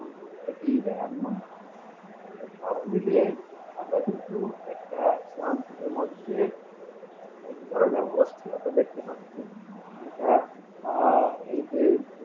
থেকেই যাই এমন তো সব মিলিয়ে আমরা কিন্তু একটা সহানুভূতির মধ্যে ধরে নাও অস্থিরতা দেখতে পাচ্ছি যেটা আহ এই যে